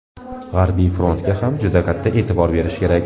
G‘arbiy frontga ham juda katta e’tibor berish kerak.